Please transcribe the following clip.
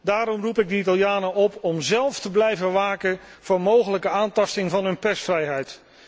Daarom roep ik de Italianen op om zelf te blijven waken voor mogelijke aantasting van hun persvrijheid.